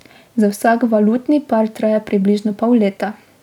Za vsak valutni par traja približno pol leta.